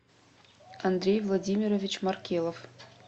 андрей владимирович маркелов